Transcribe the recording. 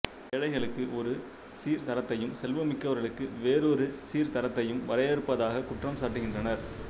ஏழைகளுக்கு ஒரு சீர்தரத்தையும் செல்வமிக்கவர்களுக்கு வேறொரு சீர்தரத்தையும் வரையறுப்பதாக குற்றம் சாட்டுகின்றனர்